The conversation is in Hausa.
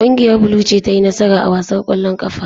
Kungiyar blue ce ta yi nasara a wasan kwallon kafa.